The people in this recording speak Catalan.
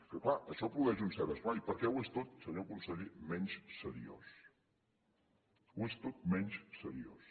que clar això produeix un cert esglai perquè ho és tot senyor conseller menys seriós ho és tot menys seriós